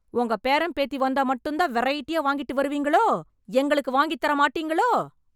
உங்க பேரன், பேத்தி வந்தா மட்டும்தான் வெரைட்டியா வாங்கிட்டு வருவீங்களோ... எங்களுக்கு வாங்கித்தர மாட்டீங்களோ?